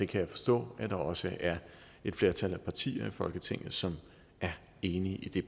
kan forstå at der også er et flertal af partier i folketinget som er enig i